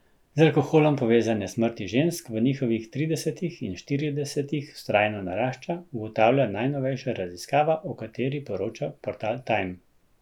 Z alkoholom povezane smrti žensk v njihovih tridesetih in štiridesetih vztrajno narašča, ugotavlja najnovejša raziskava, o kateri poroča portal Time.